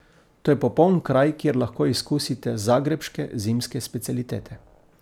To je popoln kraj, kjer lahko izkusite zagrebške zimske specialitete.